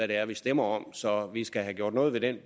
det er vi stemmer om så vi skal have gjort noget ved den